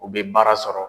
U bɛ baara sɔrɔ